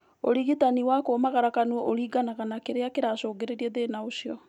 ũrigitani wa kũmagara kanua ũringanaga na kĩrĩa kĩracũngĩrĩria thĩna ũcio